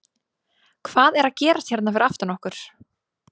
Hvað er að gerast hérna fyrir aftan okkur?